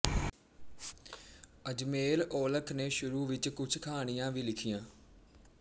ਅਜਮੇਰ ਔਲਖ ਨੇ ਸ਼ੁਰੂ ਵਿੱਚ ਕੁਝ ਕਹਾਣੀਆਂ ਵੀ ਲਿਖੀਆਂ